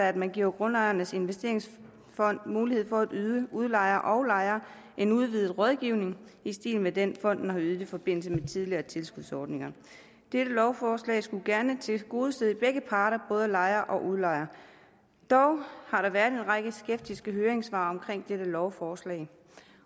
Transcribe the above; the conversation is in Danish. at man giver grundejernes investeringsfond mulighed for at yde udlejer og lejer en udvidet rådgivning i stil med den fonden har ydet i forbindelse med tidligere tilskudsordninger dette lovforslag skulle gerne tilgodese begge parter både lejere og udlejere dog har der været en række skeptiske høringssvar i lovforslag